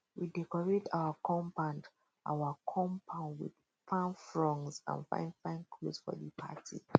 we decorate our compound our compound with palm fronds and fine fine cloths for di party